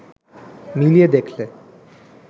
মিলিয়ে দেখলে